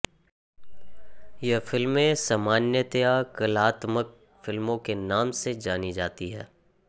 यह फिल्में सामान्यतया कलात्मक फिल्मों के नाम से जानी जाती हैं